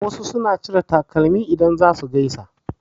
Wasu suna cire takalmi idan za su gaisa.